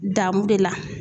Damu de la.